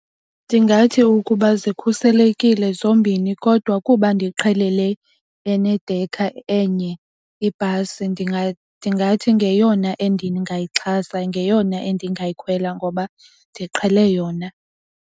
Ndingathi ukuba zikhuselekile zombini kodwa kuba ndiqhele le enedekha enye ibhasi ndingathi ngeyona endingayixhasa, ngeyona endingayikhetha ngoba ndiqhele yona.